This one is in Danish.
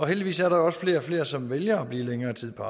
heldigvis er der også flere og flere som vælger at blive længere tid på